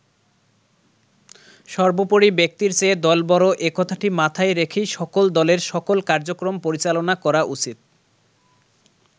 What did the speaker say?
সবোর্পরি ব্যক্তির চেয়ে দল বড় এ কথাটি মাথায় রেখেই সকল দলের সকল কার্যক্রম পরিচালনা করা উচিত।